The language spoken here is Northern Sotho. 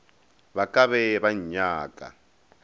ba ka be ba nnyaka